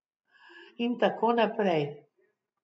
In tako naprej.